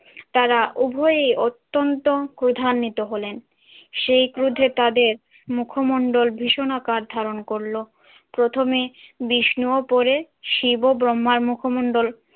তারা উভয়ই অত্যন্ত ক্রোধান্বিত হলেন। সেই ক্রোধে তাদের মুখমন্ডল ভীষণাকার ধারণ করল। প্রথমে বিষ্ণু ও পরে শিব ও ব্রহ্মার মুখমন্ডল